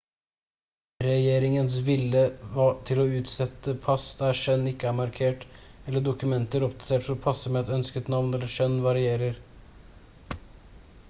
regjeringens vilje til å utstede pass der kjønn ikke er markert x eller dokumenter oppdatert for å passe med et ønsket navn eller kjønn varierer